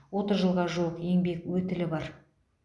отыз жылға жуық еңбек өтілі бар